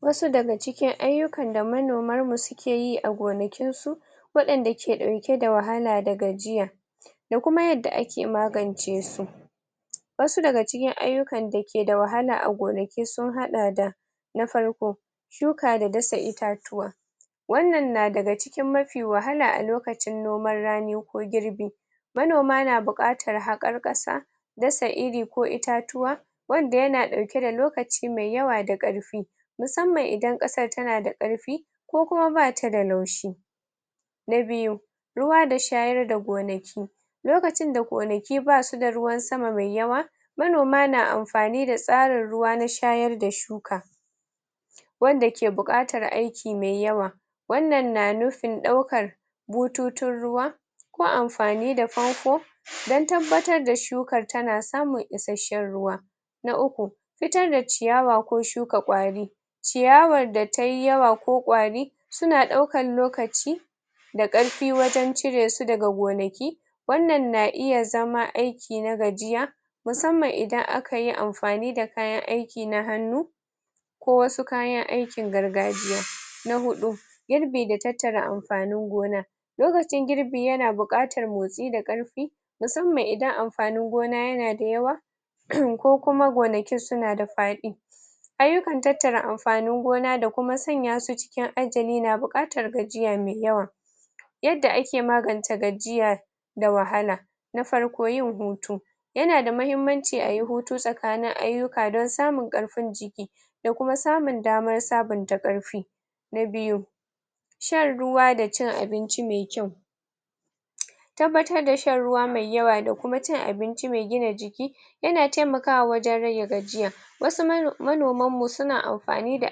wasu daga cikin ayyukan da manomar mu sukeyi a gonakin su waɗanda ke dauke da wahala da gajiya da kuma yadda ake magance su wasu daga cikin ayyukan da keda wahala a gonaki sun haɗa da na farko shuka da dasa itatuwa wanan na daga cikin mafi wahala a lokacin noman rani ko girbi manoma na buƙatar haƙar ƙasa dasa iri ko itatuwa wanda yana ɗauke da lokaci mai yawa da ƙarfi musamman idan ƙasar tana da ƙarfi ko kuma batada laushi na biyu ruwa da shayar da gonaki lokacin da gonaki basuda ruwan sama mai yawa manoma na amfani da tsarin ruwa na shayar da shuka wanda ke buƙatar aiki me yawa wanan na nufin ɗaukar bututun ruwa ko amfani da fanfo dan tabbatar da shukar tana samun isashshen ruwa na uku fitar da ciyawa ko shuka ƙwari ciyawar datai yawa ko kwari suna ɗaukan lokaci da ƙarfi wajan ciresu daga gonaki wannan na iya zama aiki na gajiya musanman idan akayi amfani da kayan aiki na hannu ko wasu kayan aikin gargajiya na huɗu girbi da tattara amfanin gona lokacin girbi yana buƙatar motsi da ƙarfi musanman idan amfanin gona yanada yawa um ko kuma gonakin sunada faɗi ayyukan tattara amfanin gona da kuma sanya su cikin ajali na buƙatar gajiya mai yawa yadda ake magance gajiyar da wahala na farko yin hutu yanada mahimmaci ayi hutu tsakanin aiyuka dan samun ƙarfin jiki da kuma samun damar sabunta ƙarfi na biyu shan ruwa da cin abinci me kyau tabbatar da shan ruwa mai yawa da kuma cin abinci mai gina jiki yana taimakawa wajan rage gajiya wasu mano manoman mu suna amfani da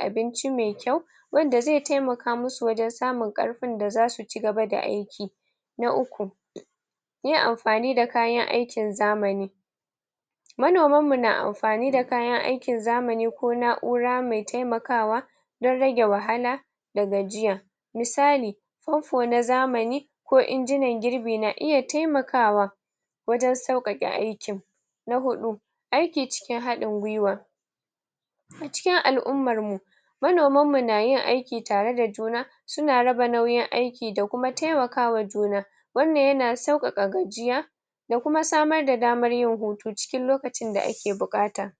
abinci mai kyau wanda zai taimaka musu wajan sumun ƙarfin da zasu ci gaba da aiki na uku yin amfani da kayan aikin zamani manoman mu na amfani da kayan aikin zamani ko na'ura mai taimakawa dan rage wahala da gajiya misali na zamani ko injinan girɓi na iya temakawa wajan sauƙaƙe aikin na huɗu aiki cikin haɗin gwiwa cikin al'ummar mu manoman mu nayin aiki tareda juna suna raba nauyin aiki da kuma temakawa juna wannan yana sauƙaƙa gajiya da kuma samar da damar yin hutu cikin lokacin da ake buƙata